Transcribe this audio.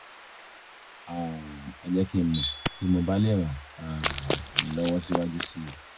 um ẹ jẹ́ kí n mọ̀ bí mo bá lè ràn um yín lọ́wọ́ síwájú sí i